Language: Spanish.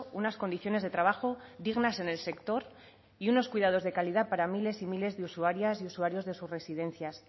unas condiciones de trabajo dignas en el sector y unos cuidados de calidad para miles y miles de usuarias y usuarios de sus residencias